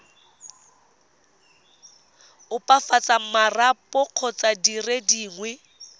opafatsa marapo kgotsa dire dingwe